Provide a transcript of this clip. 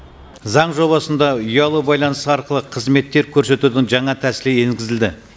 заң жобасында ұялы байланыс арқылы қызметтер көрсетудің жаңа тәсілі енгізілді